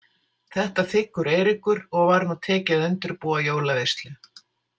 Þetta þiggur Eiríkur og var nú tekið að undirbúa jólaveislu.